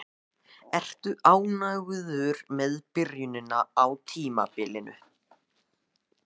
Ertu ánægður með byrjunina á tímabilinu?